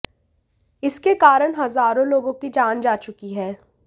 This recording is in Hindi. इसके कारण हजारों लोगों की जान जा चुकी है